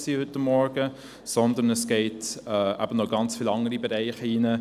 Das Thema reicht aber noch in ganz viele andere Berieche hinein.